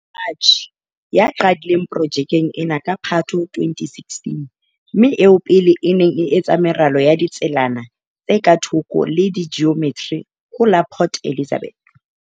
Ya qadileng pro -jekeng ena ka Phatho 2016, mme eo pele a neng a etsa meralo ya ditselana tse ka thoko le tsa jiometri ho la Port Elizabeth.